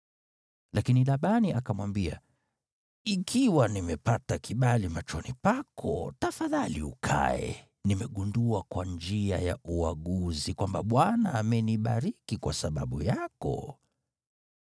Lakini Labani akamwambia, “Ikiwa nimepata kibali machoni pako, tafadhali ukae. Nimegundua kwa njia ya uaguzi kwamba Bwana amenibariki kwa sababu yako.”